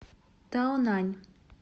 таонань